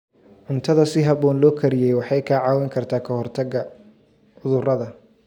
Cuntada si habboon loo kariyey waxay kaa caawin kartaa ka hortagga cudurrada.